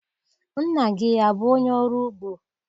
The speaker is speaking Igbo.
Nna gị abụ onye ọrụ ugbo?